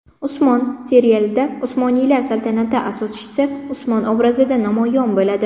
Usmon” serialida Usmoniylar saltanati asoschisi Usmon obrazida namoyon bo‘ladi.